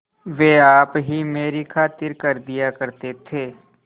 वे आप ही मेरी खातिर कर दिया करते थे